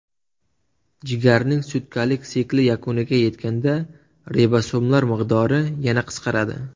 Jigarning sutkalik sikli yakuniga yetganda ribosomlar miqdori yana qisqaradi.